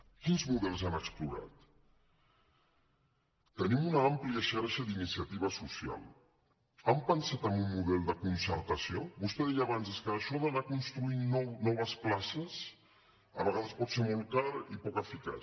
quins models han explorat tenim una àmplia xarxa d’iniciativa social han pensat en un model de concertació vostè deia abans és que això d’anar construint noves places a vegades pot ser molt car i poc eficaç